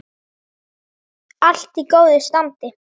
Allt í góðu standi.